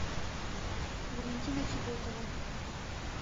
валентина чеботова